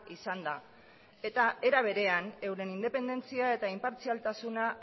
izan da eta era berean euren independentzia eta inpartzialtasuna